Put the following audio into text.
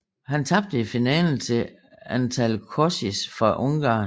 Han tabte i finalen til Antal Kocsis fra Ungarn